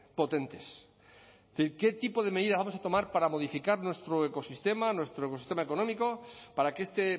potentes es decir qué tipo de medidas vamos a tomar para modificar nuestro ecosistema nuestro ecosistema económico para que este